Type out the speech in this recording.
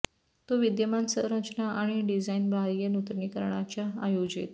तो विद्यमान संरचना आणि डिझाइन बाह्य नूतनीकरणाच्या आयोजित